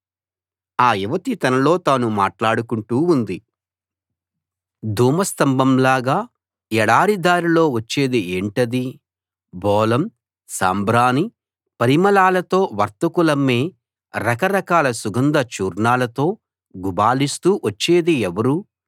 [మూడవ భాగం] ఆ యువతి తనలో తాను మాట్లాడుకుంటూ ఉంది ధూమ స్తంభంలాగా ఎడారి దారిలో వచ్చేది ఏంటది బోళం సాంబ్రాణి పరిమళాలతో వర్తకులమ్మే రకరకాల సుగంధ చూర్ణాలతో గుబాళిస్తూ వచ్చేది ఎవరు